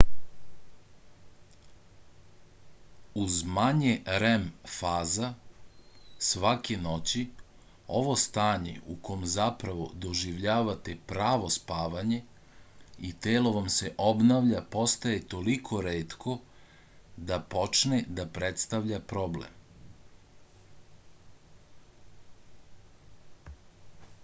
uz manje rem faza svake noći ovo stanje u kom zapravo doživljavate pravo spavanje i telo vam se obnavlja postaje toliko retko da počne da predstavlja problem